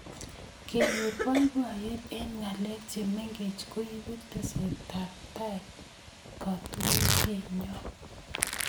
kenyoor boiboiyeet eng ngalek che mengeech koibu tesetab taai katunisienyoo